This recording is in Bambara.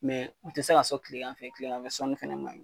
Mɛ u tɛ se k'a sɔrɔ tile fɛ, tilegan fɛ sɔni fana man ɲi.